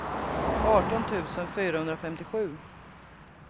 arton tusen fyrahundrafemtiosju